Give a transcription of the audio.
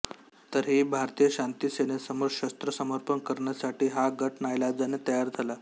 तरीही भारतीय शांती सेनेसमोर शस्त्र समर्पण करण्यासाठी हा गट नाईलाजाने तयार झाला